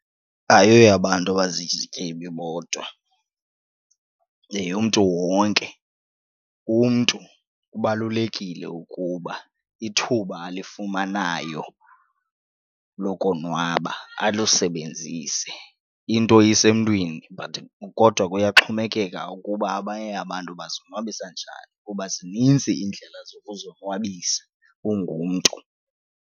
Ayoyabantu abazizityebi bodwa yeyomntu wonke. Umntu kubalulekile ukuba ithuba alifumanayo lokonwaba alusebenzise, into isemntwini but kodwa kuyaxhomekeka ukuba abanye abantu bazonwabisa njani kuba zinintsi iindlela zokuzonwabisa ungumntu.